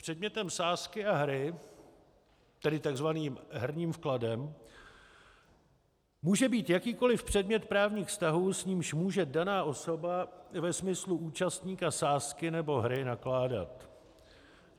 Předmětem sázky a hry, tedy tzv. herním vkladem, může být jakýkoliv předmět právních vztahů, s nímž může daná osoba, ve smyslu účastníka sázky nebo hry, nakládat.